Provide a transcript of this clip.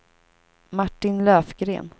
Martin Löfgren